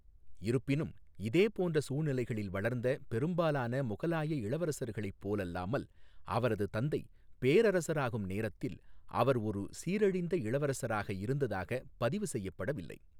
இருப்பினும், இதேபோன்ற சூழ்நிலைகளில் வளர்ந்த பெரும்பாலான முகலாய இளவரசர்களைப் போலல்லாமல், அவரது தந்தை பேரரசராகும் நேரத்தில் அவர் ஒரு சீரழிந்த இளவரசராக இருந்ததாகப் பதிவு செய்யப்படவில்லை.